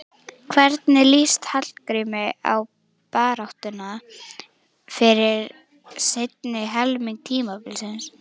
Hvernig lýst Hallgrími á baráttuna fyrir seinni helming tímabilsins?